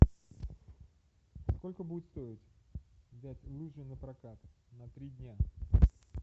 сколько будет стоить взять лыжи на прокат на три дня